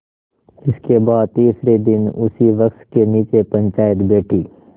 इसके बाद तीसरे दिन उसी वृक्ष के नीचे पंचायत बैठी